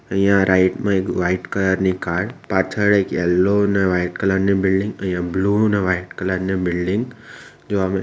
અહીંયા રાઈટ માં એક વાઈટ કલર ની કાર પાછળ એક યેલ્લો અને વાઈટ કલર ની બિલ્ડીંગ અઈયા બ્લુ અને વાઈટ કલર ની બિલ્ડીંગ જોવા મ --